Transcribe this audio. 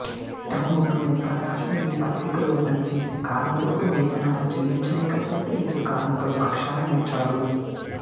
టంగుటూరి ప్రకాశం ఈ పత్రికలో పనిచేసే కార్మికులకు వేతనాలు చెల్లించలేక పోతే ఇతడు కార్మికుల పక్షాన నిలిచాడు